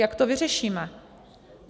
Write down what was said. Jak to vyřešíme?